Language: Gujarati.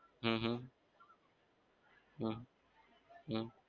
હમ હમ હમ હમ